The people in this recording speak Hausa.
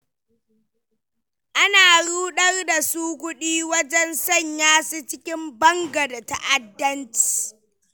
Ana ruɗar su da kuɗi wajen sanya su cikin banga da ta'addanci.